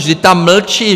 Vždyť tam mlčí!